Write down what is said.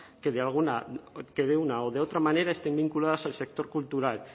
que de una o de otra manera estén vinculadas al sector cultural